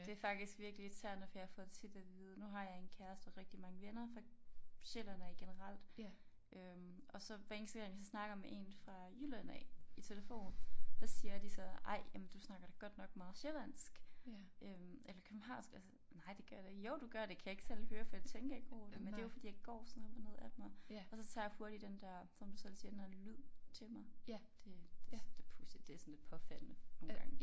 Det faktisk virkelig irriterende for jeg får tit af vide nu har jeg en kæreste og rigtig mange venner fra Sjælland af generelt øh og så hver eneste gang jeg så snakker med en fra Jylland af i telefon så siger de så ej jamen du snakker da godt nok meget sjællandsk øh eller københavnsk altså nej det gør jeg da jo du gør det kan jeg ikke selv høre for jeg tænker ikke over det men det jo fordi jeg går sådan op og ned af dem og og så tager jeg hurtigt den der som du selv siger den der lyd til mig det det pudsigt det sådan lidt påfaldende nogle gange